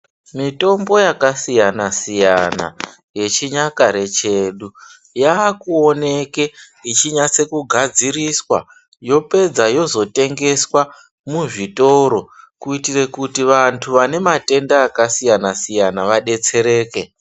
Mitombo yakasiyana siyana yechinyakare chedu yakuoneke ichi nase kugadziriswa yopedza yozotengeswa muzvitoro kuitire kuti vantu vane matenda akasiyana siyana vadetsereke.